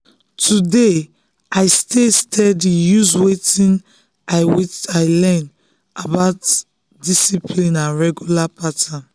today i stay steady use wetin i wetin i don learn about discipline and regular pattern.